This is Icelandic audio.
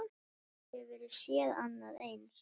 Hefur þú séð annað eins?